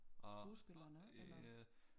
Skuespillerne eller?